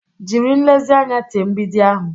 Jiri nlezianya tee mgbidi ahụ.